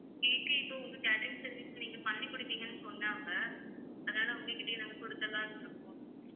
cake இப்ப உங்க catering service ல நீங்க பண்ணி குடுப்பீங்கன்னு சொன்னாங்க அதால உங்க கிட்டயே நாங்க குடுத்திடலாம்னு இருக்கோம்